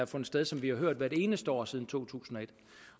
fundet sted som vi har hørt hvert eneste år siden to tusind